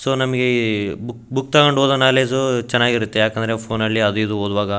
so ನಮಗೆ book book ತೊಕೊಂಡ್ ಓದೋ ನಾಲೆಜ್ ಚೆನ್ನಾಗಿರತ್ತೆ ಯಾಕಂದ್ರೆ ಫೋನ್ನ ಅಲ್ಲಿ ಅದು ಇದು ಒದುವಾಗ --